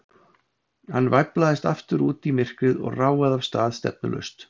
Hann væflaðist aftur út í myrkrið og ráfaði af stað, stefnulaust.